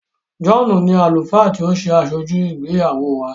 John ní Àlùfáà tí o ṣe Asoju ìgbéyàwó wá.